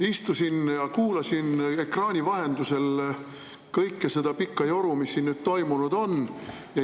Istusin ja kuulasin ekraani vahendusel kogu seda pikka joru, mis siin on.